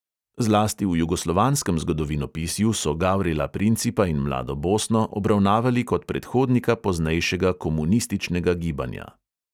Zlasti v jugoslovanskem zgodovinopisju so gavrila principa in mlado bosno obravnavali kot predhodnika poznejšega komunističnega gibanja.